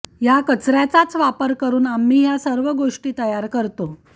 या कचऱ्याचाच वापर करुन आम्ही या सर्व गोष्टी तयार करतो